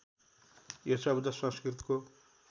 यो शब्द संस्कृतको